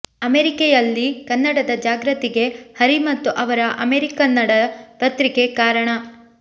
ಅಮೆರಿಕೆಯಲ್ಲಿ ಕನ್ನಡದ ಜಾಗೃತಿಗೆ ಹರಿ ಮತ್ತು ಅವರ ಅಮೆರಿಕನ್ನಡ ಪತ್ರಿಕೆ ಕಾರಣ